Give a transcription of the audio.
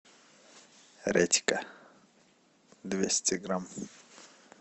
редька двести грамм